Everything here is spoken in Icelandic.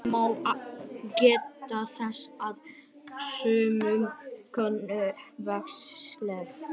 Að lokum má geta þess að sumum konum vex skegg.